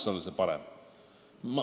See võiks alati parem olla.